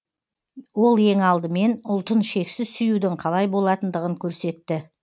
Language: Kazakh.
ол ең алдымен ұлтын шексіз сүюдің қалай болатындығын көрсетті